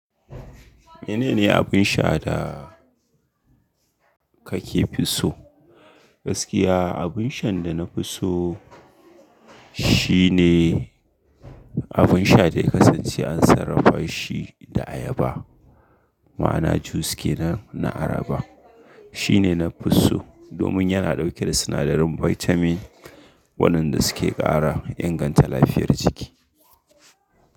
Menene abin sha da kake fi so? Gaskiya abinshan da na fi so shine abinsha da ya kasance an sarrafa shi da ayaba. Ma'ana jus ke na, na ayaba. Shine na fi so domin yana dauke da sinadarin vitamin, waɗanda suke ƙara inganta lafiyar jiki.